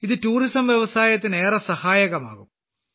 ഇത് ടൂറിസം വ്യവസായത്തിന് ഏറെ സഹായകമാകും